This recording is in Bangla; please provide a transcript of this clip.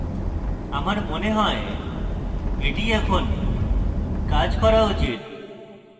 আমার মনে হয় এটি কাজ করা উচিত